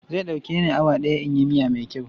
Zai ɗauke ni awa ɗaya in yi miya mai kyau.